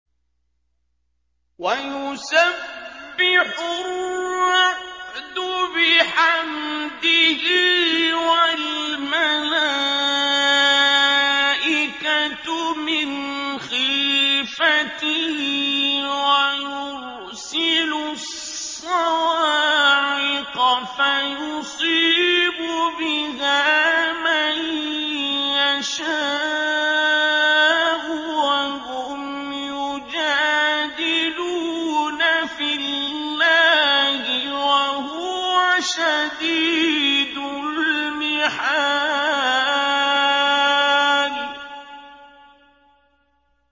وَيُسَبِّحُ الرَّعْدُ بِحَمْدِهِ وَالْمَلَائِكَةُ مِنْ خِيفَتِهِ وَيُرْسِلُ الصَّوَاعِقَ فَيُصِيبُ بِهَا مَن يَشَاءُ وَهُمْ يُجَادِلُونَ فِي اللَّهِ وَهُوَ شَدِيدُ الْمِحَالِ